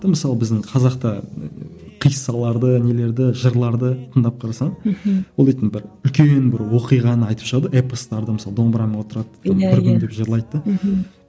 мысалы біздің қазақта қиссаларды нелерді жырларды тыңдап қарасаң мхм ол дейтін бір үлкен бір оқиғаны айтып шығады ғой эпостарды мысалы домбыраны отырады иә иә бір күндеп жырлайды да мхм